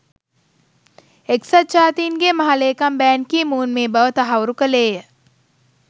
එක්සත් ජාතීන්ගේ මහ‍ලේකම් බැන් කි මූන් මේ බව තහවුරු කළේය